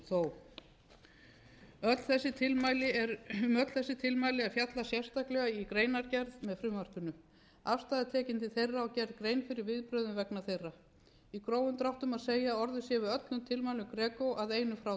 um öll þessi tilmæli er fjallað sérstaklega í greinargerð með frumvarpinu afstaða er tekin til þeirra og gerð grein fyrir viðbrögðum vegna þeirra í grófum dráttum má segja að orðið sé við öllum tilmælum greco að einu frátöldu